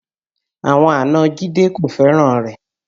Àwọn àna Jide kò fẹ́ràn rẹ̀